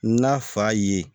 N'a fa ye